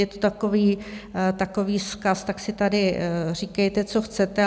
Je to takový vzkaz: tak si tady říkejte, co chcete.